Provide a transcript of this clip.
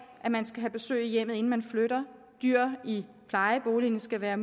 at man skal have besøg i hjemmet inden man flytter at dyr i plejeboligen skal være